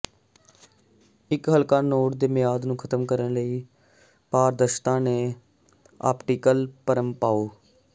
ਇੱਕ ਹਲਕਾ ਨੋਟ ਤੇ ਮਿਆਦ ਨੂੰ ਖਤਮ ਕਰਨ ਲਈ ਪਾਰਦਰਸ਼ਤਾ ਤੇ ਆਪਟੀਕਲ ਭਰਮ ਪਾਓ